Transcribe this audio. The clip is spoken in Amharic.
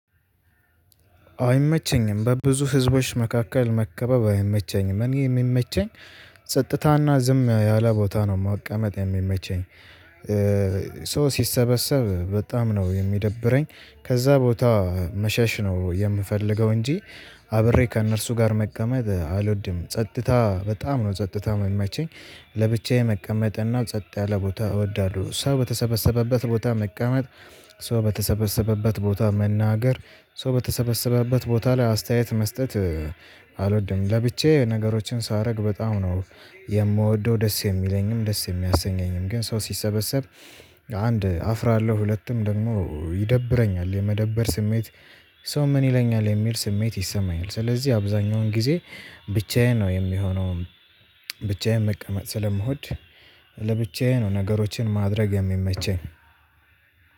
አይመቸኝም በብዙ ህዝቦች መካከል መከበብ አይመቸኝም እኔ የሚመቸኝ ጸጥታና ዝም ያለ ቦታ ነው መቀመጥ የሚመቸኝ። ሰው ሲሰበሰብ በጣም ነው የሚደብረኝ ከዛ ቦታ መሸሽ ነው የምፈልገው እንጂ። አብሬ ከእነርሱ ጋር መቀመጥ አልወድም ጸጥታ በጣም ነው ጸጥታ የሚመቸኝ። ለብቻዬ መቀመጥ እና ጸጥ ያለ ቦታ እወዳለሁ። ሰው በተሰበሰበበት ቦታ መቀመጥ ሰው በተሰበሰበበት ቦታ መናገር ሰው በተሰበሰበበት ቦታ ላይ አስተያየት መስጠት አልወድም። ለብቻዬ ነገሮችን ሳረግ በጣም ነው የምወደው ደስ የሚለኝም ደስ የሚያሰኘኝም ግን ሰው ሲሰበሰብ። አንድ አፍራለሁ ሁለቱም ደግሞ ይደብረኛል የመደበር ስሜት። ሰው ምን ይለኛል የሚል ስሜት ይሰማኛል ስለዚህ አብዛኛውን ጊዜ ብቻዬን ነው የሚሆነው። ብቻዬን መቀመጥ ስለምወድ ለብቻዬ ነው ነገሮችን ማድረግ የሚመቸኝ።